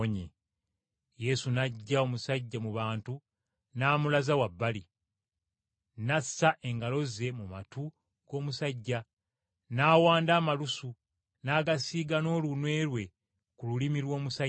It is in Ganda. Yesu n’aggya omusajja mu bantu n’amulaza wabbali, n’assa engalo ze mu matu g’omusajja; n’awanda amalusu, n’agasiiga n’olunwe lwe ku lulimi lw’omusajja.